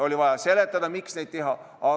Oli vaja seletada, miks neid oli vaja teha.